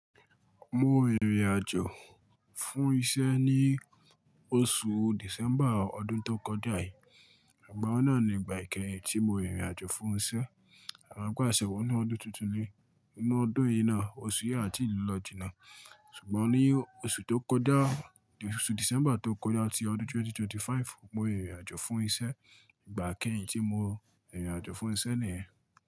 Mo rìnrìn àjò fún iṣẹ́ ní oṣù December ọdún tó kọjá yìí. Ìgbà wùn náà ni ìgbà ikẹ́yìn tí mo rìnrìn àjò fún iṣẹ́. E mo pé àṣẹ wọ́ nu ọdún tuntun ni. Nínú ọdún yìí náà, oṣù yìí a ti lọ ló jìnà. Ṣùgbọ́n ní oṣù tó kọjá, oṣù December tó kọjá ti ọdún 2025, mo rìnrìn àjò fún iṣẹ́. Ìgbà kẹ́rin tí mo rìnrìn àjò fún iṣẹ́ nìyẹn.